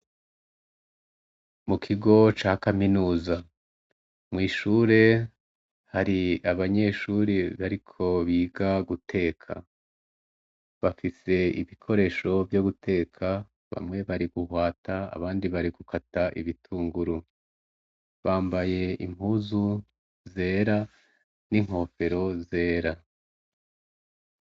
Mu kigo ca kaminuza. Mw'ishure hari abanyeshure bariko biga guteka. Bafise ibikoresho vyo guteka bamwe bari guhwata abandi bari gukata ibitunguru. Bambaye impuzu zera n'inkofero zera.